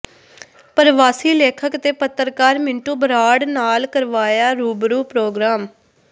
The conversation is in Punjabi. ਪ੍ਰਵਾਸੀ ਲੇਖਕ ਤੇ ਪੱਤਰਕਾਰ ਮਿੰਟੂ ਬਰਾੜ ਨਾਲ ਕਰਵਾਇਆ ਰੂਬਰੂ ਪੋ੍ਰਗਰਾਮ